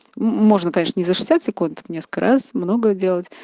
можно конечно не за шестьдесят секунд несколько раз много делать